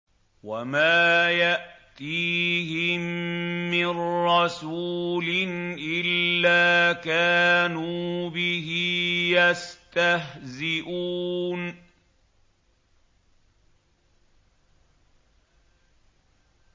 وَمَا يَأْتِيهِم مِّن رَّسُولٍ إِلَّا كَانُوا بِهِ يَسْتَهْزِئُونَ